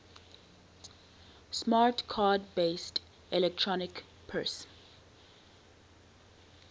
smart card based electronic purse